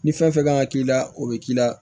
Ni fɛn fɛn kan ka k'i la o bɛ k'i la